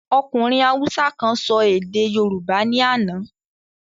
Ọkùnrin haúsá kan sọ èdè yorùbá ní àná.